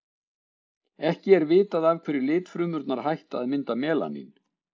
ekki er vitað af hverju litfrumurnar hætta að mynda melanín